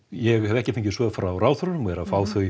ég hef ekki fengið svör frá ráðherrum og er að fá þau